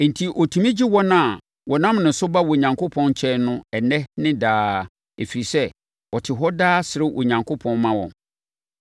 Enti, ɔtumi gye wɔn a wɔnam ne so ba Onyankopɔn nkyɛn no ɛnnɛ ne daa, ɛfiri sɛ, ɔte hɔ daa srɛ Onyankopɔn ma wɔn.